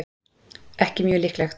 ekki mjög líklegt